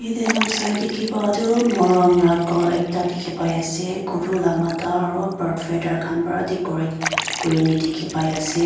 yatae noksa tae dikhipa tu morom khor ekta dikhipaiase guru la matha aro bird feather khan pa decorate kurna dikhipaiase.